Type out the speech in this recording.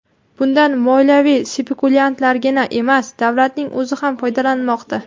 Bundan moliyaviy spekulyantlargina emas, davlatning o‘zi ham foydalanmoqda.